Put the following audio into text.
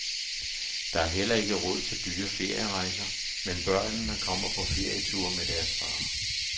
Der er heller ikke råd til dyre ferierejser, men børnene kommer på ferieture med deres far.